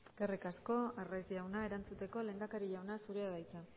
eskerrik asko arraiz jauna erantzuteko lehendakari jauna zurea da hitza